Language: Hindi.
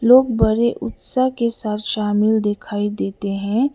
लोग बड़े उत्साह के साथ शामिल दिखाई देते हैं।